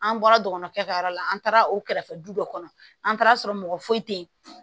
An bɔra dɔgɔnɔkɛ ka yɔrɔ la an taara o kɛrɛfɛ du dɔ kɔnɔ an taara sɔrɔ mɔgɔ foyi tɛ yen